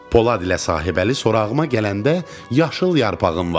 Polad ilə sahibəli sorağıma gələndə yaşıl yarpağım vardı.